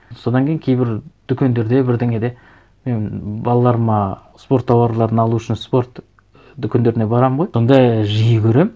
содан кейін кейбір дүкендерде бірдеңеде мен балаларыма спорт тауарларын алу үшін спорт дүкендеріне барамын ғой сонда жиі көремін